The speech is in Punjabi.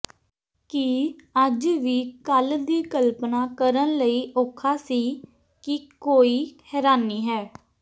ਕੀ ਅੱਜ ਵੀ ਕੱਲ੍ਹ ਦੀ ਕਲਪਨਾ ਕਰਨ ਲਈ ਔਖਾ ਸੀ ਕਿ ਕੋਈ ਹੈਰਾਨੀ ਹੈ